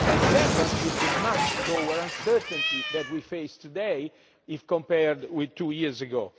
Second is the much lower uncertainty that we face today if compared to two years ago.